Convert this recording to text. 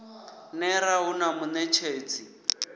ner a hu na muṋetshedzi